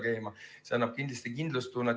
See annab kindlasti kindlustunnet.